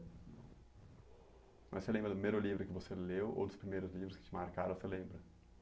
Mas você lembra do primeiro livro que você leu ou dos primeiros livros que te marcaram, você lembra?